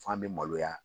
F'an be maloya